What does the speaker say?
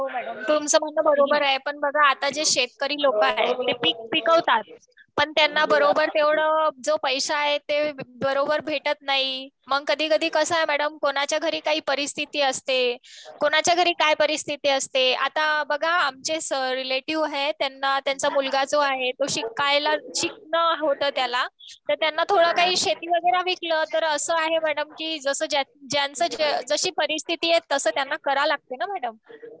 हो मॅडम तुमचं म्हणणं बरोबर आहे. पण बघा आता जे शेतकरी लोक आहे ते पीक पिकवतात पण त्यांना बरोबर तेवढ जो आहे ते बरोबर भेटत नाही मग कधी कधी कस आहे मॅडम कुणाच्या घरी काही परिथिती असते. कुणाच्या घरी काय परिस्तिथी असते. बघा आमचे रिलेटिव्ह आहे त्यांचं मुलगा जो आहे तो शिकायला शिकन होत त्याला त्यांनी थोडी शेती वगैरे विकलं तर अस आहे मॅडम ज्यांचं जस परिस्तिथी आहे. तास त्यांना करायला लागतं ना मॅडम